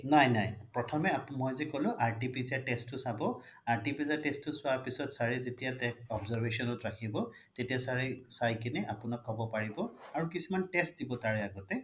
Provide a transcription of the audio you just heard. নাই নাই প্ৰথমে মই যি ক্'লো RTPCR test টো চাব RTPCR test টো চোৱাৰ পিছ্ত sir ৰে যেতিয়া তেওক observation ত ৰাখিব তেতিয়া sir ৰে চাই কিনে আপোনাক ক্'ব পাৰিব আৰু কিছুমান test দিব তাৰে আগতে